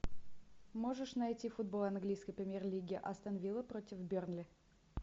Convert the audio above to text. можешь найти футбол английской премьер лиги астон вилла против бернли